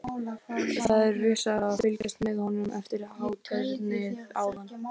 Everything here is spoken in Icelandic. Það er vissara að fylgjast með honum eftir hátternið áðan.